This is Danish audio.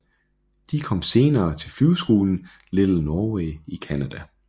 De kom senere til flyveskolen Little Norway i Canada